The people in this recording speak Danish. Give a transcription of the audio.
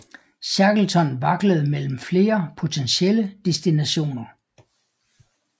Shackleton vaklede mellem flere potentielle destinationer